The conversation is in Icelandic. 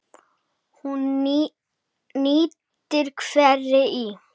Hún nýtir hveri í